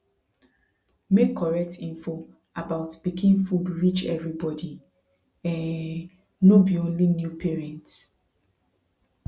make correct info about pikin food reach everybody um no be only new parents